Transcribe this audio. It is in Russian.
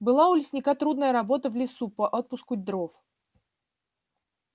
была у лесника трудная работа в лесу по отпуску дров